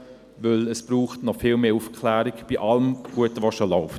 Denn es braucht noch viel mehr Aufklärung bei all dem Guten, das schon läuft.